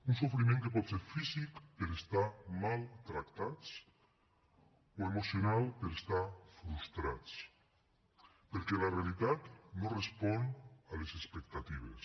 un sofriment que pot ser físic per estar mal tractats o emocional per estar frustrats perquè la realitat no respon a les expectatives